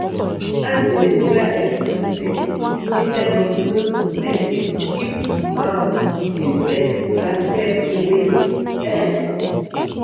we dey gather around fire to roast groundnut after we harvest for harvest for evening.